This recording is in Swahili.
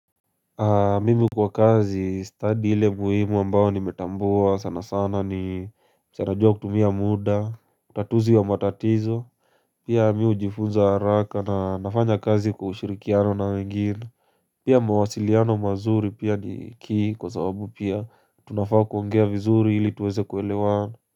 Mimi kwa kazi study ile muhimu ambao nimetambua sana sana ni sana jua kutumia muda, tatuzi wa matatizo Pia mmii hujifunza haraka na nafanya kazi kwa ushirikiano na wengine Pia mawasiliano mazuri pia ni key kwa sababu pia tunafaa kuongea vizuri hili tuweze kuelewana.